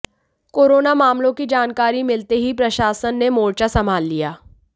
corona मामलों की जानकारी मिलते ही प्रशासन ने मोर्चा संभाल लिया